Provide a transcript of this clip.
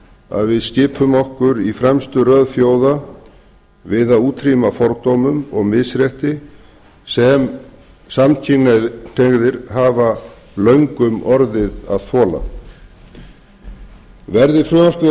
að við skipum okkur í fremstu röð þjóða við að útrýma fordómum og misrétti sem samkynhneigðir hafa löngum orðið að þola verði frumvarpið að